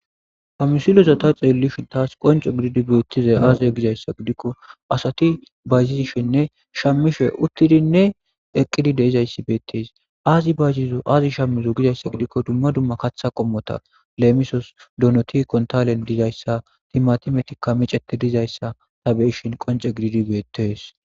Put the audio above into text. hamisiloza ta xeellishin taas qonce gididi beettizay aaziza gizayssa gidikko asati bayzizishenne shammishe uttidinne eqqidi deizayssi beettes zaazi shammizo gizayssa gidikko dumma dumma katha qommota leemisos donoti kontalen dizayssa timmatimetikka micete dizayssa ta beishin qonce gididi beettees